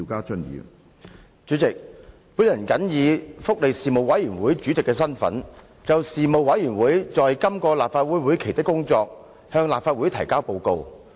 主席，我謹以福利事務委員會主席的身份，就事務委員會在今個立法會會期的工作，向立法會提交報告。